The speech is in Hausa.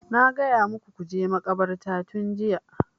Na gaya muku ku je makabartar tun jiya!